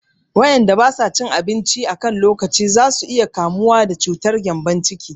Waƴanda ba sa cin abinci a kan lokaci za su iya kamuwa da cutar gƴambon ciki